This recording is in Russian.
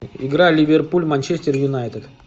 игра ливерпуль манчестер юнайтед